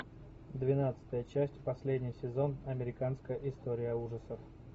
двенадцатая часть последний сезон американская история ужасов